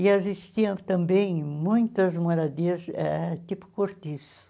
E existiam também muitas moradias eh tipo cortiço.